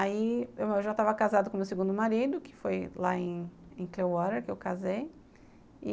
Aí, eu já estava casada com meu segundo marido, que foi lá em Clearwater, que eu casei.